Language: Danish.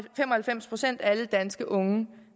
fem og halvfems procent af alle danske unge